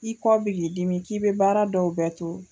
I kɔ b'i k'i dimi k'i be baara dɔw bɛɛ to